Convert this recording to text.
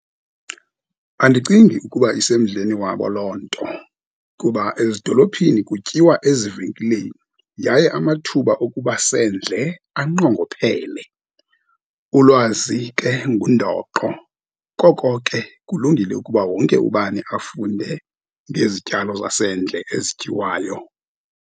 Andicingi ukuba isemdleni wabo loo nto, kuba ezidolophini kutyiwa ezivenkileni, yaye amathuba okuba sendle anqongophele. Ulwazi ke ngundoqo, koko ke kulungile ukuba wonke ubani afunde ngezityalo zasendle ezityiwayo.